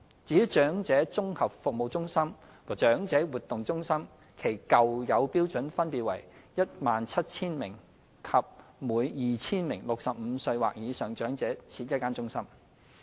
至於長者綜合服務中心和長者活動中心，其舊有標準分別為每 17,000 名及每 2,000 名65歲或以上長者設1間中心。